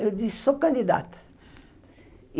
Eu disse, sou candidata.